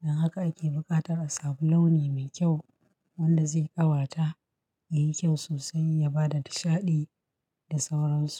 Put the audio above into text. Don haka ake buƙatar a samu launi me kyau wanda zai ƙawata, ya yi kyau sosai, ya ba da nishaɗi da sauransu.